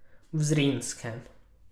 V Zrinjskem.